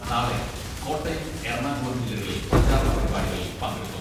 നാളെ കോട്ടയം, എറണാകുളം ജില്ലകളിൽ പ്രചാരണ പരിപാടികളിൽ പങ്കെടുക്കും.